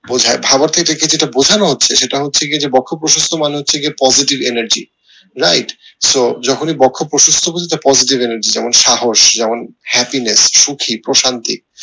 বোঝায় এটা কে যেটা বোঝানো হচ্ছে সেটা হচ্ছে গিয়ে যে বক্ষ প্রশস্ত মানে হচ্ছে যে positive energy right so যখনি বক্ষ প্রশস্ত বলতে positive energy right যেমন সাহস যেমন happiness সুখী প্রশান্তি